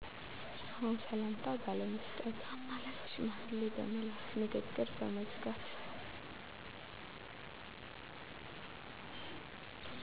አዎ ሰላምታ ባለመስጠት፣ አማላጅ ሽማግሌ በመላክ፣ ንግግር በመዝጋት